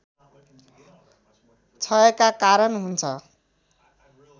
क्षयका कारण हुन्छ